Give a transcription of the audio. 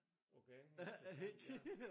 Okay hvis det sådan ja